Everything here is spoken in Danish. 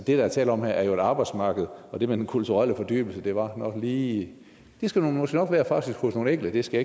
er tale om her er jo et arbejdsmarked og det med den kulturelle fordybelse var nok lige det skal der måske nok være hos nogle enkelte det skal